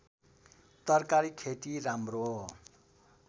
तरकारी खेती राम्रो